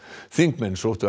þingmenn sóttu